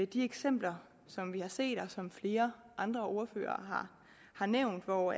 de eksempler som vi har set og som flere andre ordførere har nævnt hvor